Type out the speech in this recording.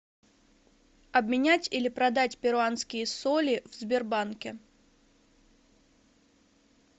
обменять или продать перуанские соли в сбербанке